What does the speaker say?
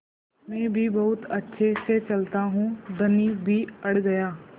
मैं भी बहुत अच्छे से चलता हूँ धनी भी अड़ गया